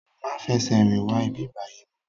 Má fè sè rin wá ibibàyi mò